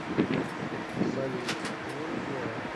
салют ну и дела